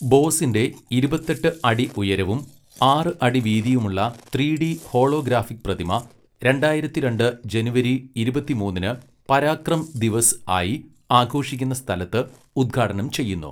ബോസിന്റെ ഇരുപത്തെട്ട് അടി ഉയരവും ആറ് അടി വീതിയുമുള്ള ത്രീഡി ഹോളോഗ്രാഫിക് പ്രതിമ, രണ്ടായിരത്തിരണ്ട് ജനുവരി ഇരുപത്തിമൂന്നിന് പരാക്രം ദിവസ് ആയി ആഘോഷിക്കുന്ന സ്ഥലത്ത് ഉദ്ഘാടനം ചെയ്യുന്നു.